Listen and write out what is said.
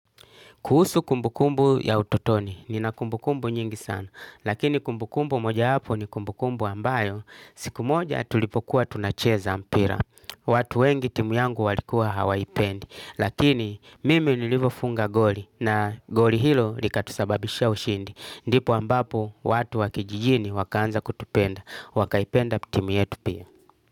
Kuhusu kumbukumbu ya utotoni, nina kumbukumbu nyingi sana, lakini kumbukumbu mojawapo ni kumbukumbu ambayo, siku moja tulipokuwa tunacheza mpira. Watu wengi timu yangu walikuwa hawaipendi, lakini mimi nilivofunga goli, na goli hilo likatusababisha ushindi. Ndipo ambapo, watu wa kijijini wakaanza kutupenda, wakaipenda timu yetu pia.